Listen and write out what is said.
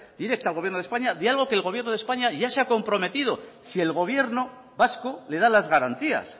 directa al gobierno de españa diálogo al que el gobierno de españa ya se ha comprometido si el gobierno vasco le da las garantías